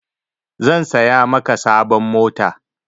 San saya maka sabon mota.